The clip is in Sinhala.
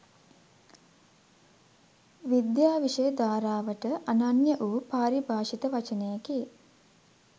විද්‍යා විෂය ධාරාවට අනන්‍ය වූ පාරිභාෂිත වචනයකි